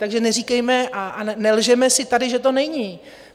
Takže neříkejme a nelžeme si tady, že to není.